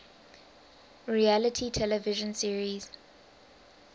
reality television series